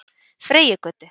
Freyjugötu